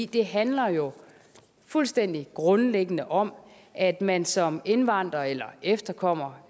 det handler jo fuldstændig grundlæggende om at man som indvandrer eller efterkommer